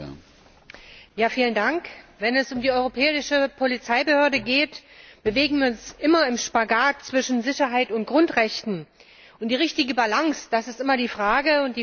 Herr Präsident! Wenn es um die europäische Polizeibehörde geht, bewegen wir uns immer im Spagat zwischen Sicherheit und Grundrechten, und die richtige Balance ist immer die Frage.